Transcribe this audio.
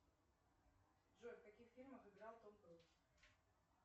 джой в каких фильмах играл том круз